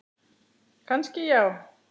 Kannski já.